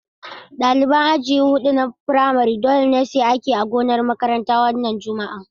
Ɗaliban aji huɗu na firamare dole ne su yi aiki a gonar makaranta a wannan Juma'a.